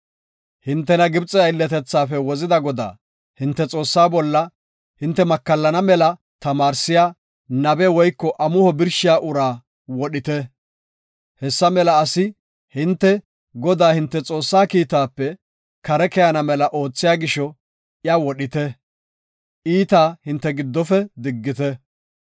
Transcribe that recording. Hintena Gibxe aylletethaafe wozida Godaa, hinte Xoossaa bolla hinte makallana mela tamaarsiya nabe woyko amuho birshiya uraa wodhite. Hessa mela asi hinte Godaa, hinte Xoossa kiitaape kare keyana mela oothiya gisho, iya wodhite; iitaa hinte giddofe diggite.